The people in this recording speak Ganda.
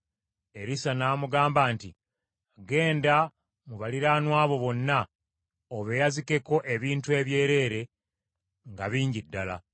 Erisa n’amugamba nti, “Genda mu baliraanwa bo bonna obeeyazikeko ebintu ebyereere, nga bingi ddala.